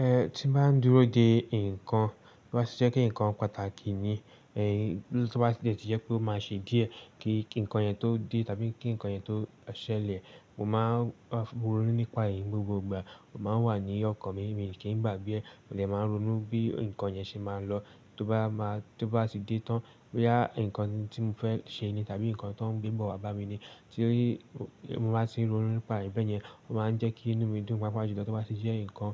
Eh tí n bá dúró de nǹkan tó bá ti jẹ́ pé nǹkan pàtàkì ni, eh tí ó bá ti dé ti jẹ́ pé ó máa ṣe díẹ̀ kí nǹkan yẹn tó dé tàbí kí nǹkan yẹn tó ṣẹlẹ̀, mo máa n rónú nípa èyií gbogbo ìgbà. O máa ń wà ní ọkàn mi, mi kí n gbàgbé ẹ̀, mo dè máa rónú bí nǹkan yẹn ṣe máa lọ. Tóbá máa tóbá ti dé tán boya nǹkan tí mo fẹ́ ṣe ni tàbí nǹkan tó n gbébọ̀ wá bá mi ni tí mo bá ti rónú nípa re bẹ́yẹn, ó máa n jẹ́ kí inú mi dùn paapajulo. Tóbá ti jẹ́ nǹkan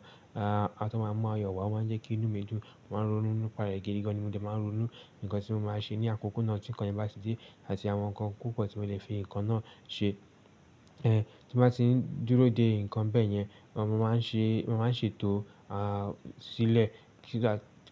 a tó máa mu ayọ̀ wá ó máa n jẹ́ kí inú mi dùn, mo máa n rónú nípa rẹ̀ gidigan ni mo de máa rónú, nǹkan tí mo máa ṣe ní àkókò náà tí nǹkan yẹn bá ti dé àti àwọn nǹkan púpọ̀ tí mo lè fi nǹkan náà ṣe. Eh tí n bá ti dúró de nǹkan bẹ́yẹn, mo máa n ṣe, mo máa n ṣètò à sílẹ̀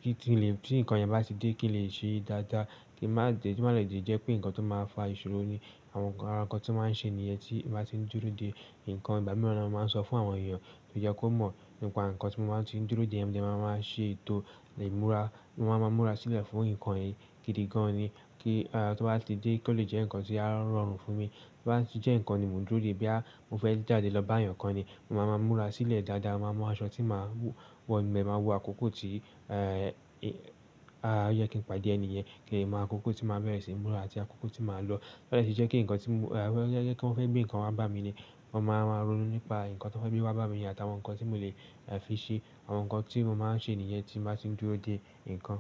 kí tí lè tí nǹkan yẹn bá ti dé kí lè ṣe dáadáa, kí má de kí má lè di ẹ́ jẹ́ pé nǹkan tó máa fa ìṣòro ní. Àwọn nǹkan, àwọn nǹkan tí máa n ṣe nìyẹn tí n bá ti dúró de nǹkan. Ìgbá mi ni mo máa n sọ fún àwọn èèyàn tó jẹ́ kó mọ̀ nípa nǹkan tí mo bá ti dúró de yẹn, mo lè máa má ṣe ètò imúra, mo máa má múra sílẹ̀ fún nǹkan yìí gidigan ni kí a tó bá ti dé kí ó lè jẹ́ nǹkan tí á rọrùn fún mi. Tóbá ti jẹ́ nǹkan ni mo n dúró de boya mo fẹ́ jáde lọ bá èèyàn kan ni, mo máa má múra sílẹ̀ dáadáa, mo máa mu aṣọ tí màá wọ, mo dẹ máa wo àkókò tí o yẹ kí n pàdé ẹnì yẹn, kín le mọ àkókò tí màá bẹ̀rẹ̀ sí í múra àti àkókò tí màá lọ. To ba jẹ́ pe kí nǹkan tí mo ẹ jẹ́ kí wọ́n fẹ́ gbé nǹkan wá bá mi ni, mo máa máa rónú nípa nǹkan tó fẹ́ gbé wá bá mi ní àtàwọn nǹkan tí mo lè ẹ fi ṣe, àwọn nǹkan tí mo máa n ṣe nìyẹn tí n bá ti dúró de nǹkan.